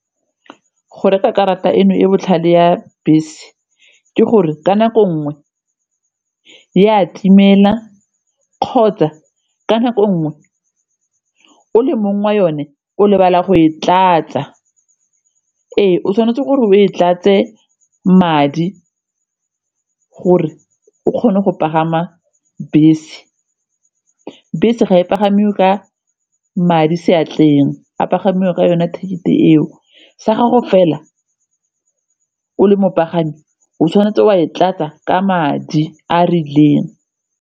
Go reka karata eno e botlhale ya bese ke gore ka nako ngwe e a timela kgotsa ka nako nngwe o le mong wa yone o lebala go e tlatsa, ee o tshwanetse gore o e tlatse madi gore o kgone go pagama bese. Bese ga e pagame o ka madi seatleng, a pagame ka yone ticket-e eo, sa gago fela o le mopagami eng o tshwanetse wa e tlatsa ka madi a a rileng.